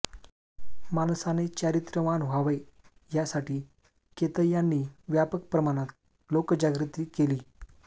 माणसाने चारित्र्यवान व्हावे यासाठी केतय्यांनी व्यापक प्रमाणात लोकजागृती केली